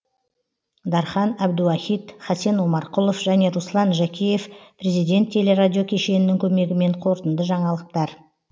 дархан әбдуахит хасен омарқұлов және руслан жәкеев президент телерадио кешенінің көмегімен қорытынды жаңалықтар